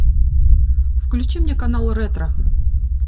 включи мне канал ретро